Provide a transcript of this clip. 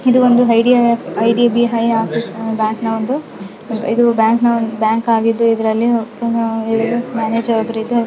ಇದುಒಂದು I D B I bank ನ ಒಂದು ಇದು ಒಂದು ಬ್ಯಾಂಕ್ ಆಗಿದ್ದು ಇದರಲ್ಲಿ ಒಂದು ಮ್ಯಾನೇಜರ್ ಇದ್ದಾರೆ.